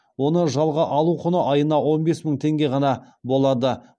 оны жалға алу құны айына он бес мың теңге ғана болады